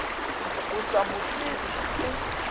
o sa mo tsebe o